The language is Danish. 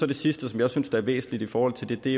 det sidste som jeg synes er væsentligt i forhold til det er